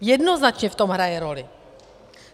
Jednoznačně v tom hraje roli.